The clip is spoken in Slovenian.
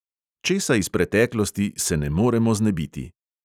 Česa iz preteklosti se ne moremo znebiti?